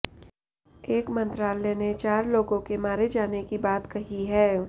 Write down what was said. एक मंत्रालय ने चार लोगों के मारे जाने की बात कही है